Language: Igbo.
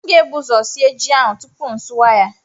M ga-ebu ụzọ sie ji ahụ tupu m asụwa ya